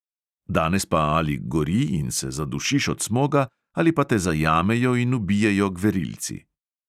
Danes pa ali gori in se zadušiš od smoga ali pa te zajamejo in ubijejo gverilci.